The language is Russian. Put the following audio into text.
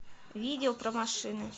видео про машины